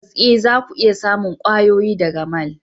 Tabbas eh zaku iya samun kwayoyi daga mall.